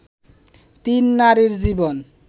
তিন নারীর জীবন